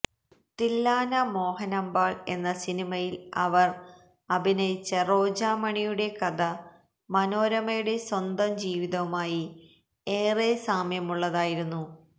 തില്ലാനാ മോഹനാംബാള് എന്ന സിനിമയില് അവര് അഭിനയിച്ച റോജാമണിയുടെ കഥ മനോരമയുടെ സ്വന്തം ജീവിതവുമായി ഏറെ സാമ്യമുള്ളതായിരുന്നു